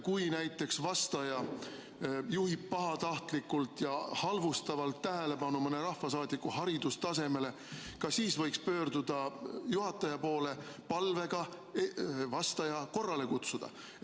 Kui näiteks vastaja juhib pahatahtlikult ja halvustavalt tähelepanu mõne rahvasaadiku haridustasemele, ka siis võiks pöörduda juhataja poole palvega vastaja korrale kutsuda.